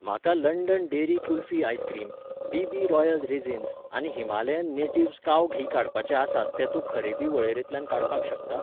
म्हाका London dairy kulfi ice cream, B B royal raisins आनी Himalayan natives cow ghee काडपाचे आसात ते तूं खरेदी वळेरेंतल्यान काडपाक शकता?